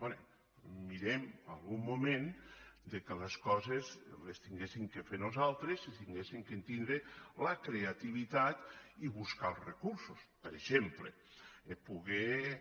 bé mirem en algun moment que les coses les haguéssim de fer nosaltres i haguéssim de tindre la creativitat i buscar els recursos per exemple poder